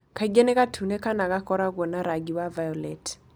Kaingĩ nĩ gatune kana gakoragwo na rangi wa violet.